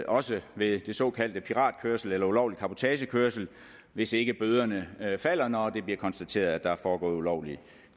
også ved den såkaldte piratkørsel eller ulovlige cabotagekørsel hvis ikke bøderne falder når det bliver konstateret at der er foregået ulovlig